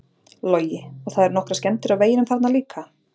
Logi: Og það eru nokkrar skemmdir á veginum þarna líka?